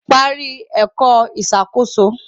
Parí ẹ̀kọ́ ìṣàkóso